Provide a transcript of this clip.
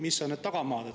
Mis on need tagamaad?